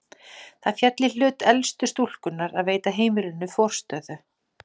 Það féll í hlut elstu stúlkunnar að veita heimilinu forstöðu.